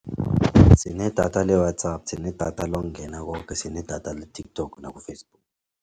Sinedatha le-WhatsApp, sinedatha lokungena koke, sinedatha le-TikTok naku-Facebook.